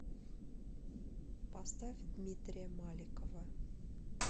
поставь дмитрия маликова